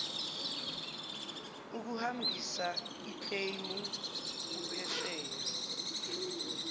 uhambisa ikleymu uphesheya